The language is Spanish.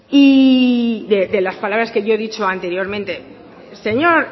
y de las palabras que yo he dicho anteriormente señor